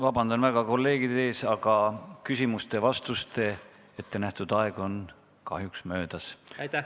Vabandan väga kolleegide ees, aga küsimuste-vastuste jaoks ette nähtud aeg on kahjuks möödas.